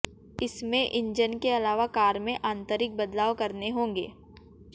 इसमें इंजन के अलावा कार में आंतरिक बदलाव करने होंगे